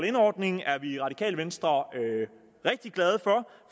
in ordning er vi i radikale venstre rigtig glade for